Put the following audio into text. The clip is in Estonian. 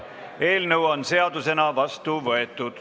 Eelnõu on seadusena vastu võetud.